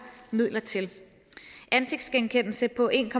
midler til ansigtsgenkendelse på en